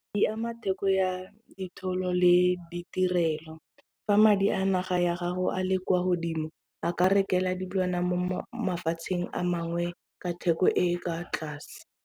Di ama theko ya ditholo le ditirelo, fa madi a naga ya gago a le kwa godimo a ka rekelwa dilwana mo mafatsheng a mangwe ka theko e e kwa tlase.